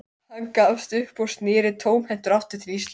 Hann gafst upp og sneri tómhentur aftur til Íslands.